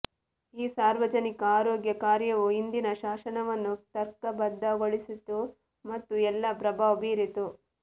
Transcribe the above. ಈ ಸಾರ್ವಜನಿಕ ಆರೋಗ್ಯ ಕಾರ್ಯವು ಹಿಂದಿನ ಶಾಸನವನ್ನು ತರ್ಕಬದ್ಧಗೊಳಿಸಿತು ಮತ್ತು ಎಲ್ಲಾ ಪ್ರಭಾವ ಬೀರಿತು